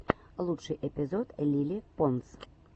лучший эпизод лили понс